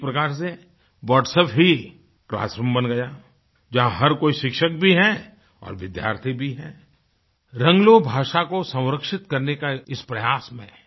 एक प्रकार से Whatsappही क्लासरूम बन गया जहाँ हर कोई शिक्षक भी है और विद्यार्थी भीरंगलोक भाषा को संरक्षित करने का एक इस प्रयास में है